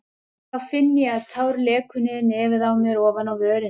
En þá finn ég að tár lekur niður nefið á mér ofan á vörina.